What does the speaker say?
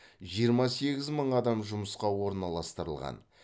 жиырма сегіз мың адам жұмысқа орналастырылған